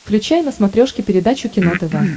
включай на смотрешке передачу кино тв